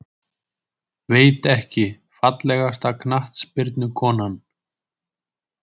Veit ekki Fallegasta knattspyrnukonan?